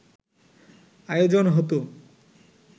আয়োজন হত